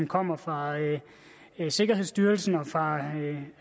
kommer fra sikkerhedsstyrelsen og